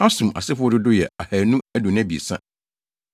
Hasum asefo dodow yɛ 2 223 1